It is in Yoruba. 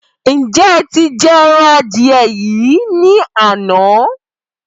Ǹjẹ́ ẹ ti jẹ ẹran adìẹ yín ní àná?